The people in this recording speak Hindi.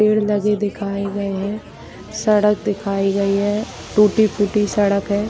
पेड़ लगे दिखाए गए है सड़क दिखाई गई है टूटी-फूटी सड़क है।